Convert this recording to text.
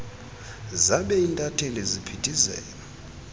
zabe intatheli ziphithizela